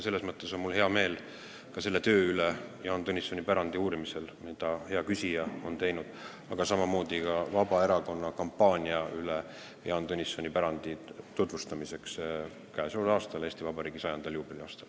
Selles mõttes on mul hea meel ka selle töö üle Jaan Tõnissoni pärandi uurimisel, mida hea küsija on teinud, aga samamoodi ka Vabaerakonna kampaania üle, mis on korraldatud Jaan Tõnissoni pärandi tutvustamiseks käesoleval, Eesti Vabariigi juubeli aastal.